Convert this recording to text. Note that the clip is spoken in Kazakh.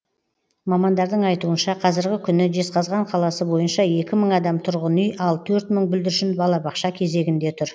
мамандардың айтуынша қазіргі күні жезқазған қаласы бойынша екі мың адам тұрғын үй ал төрт мың бүлдіршін балабақша кезегінде тұр